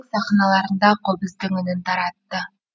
сахналарында қобыздың үнін таратты